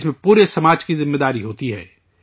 اس میں پورے سماج کی ذمہ داری ہوتی ہے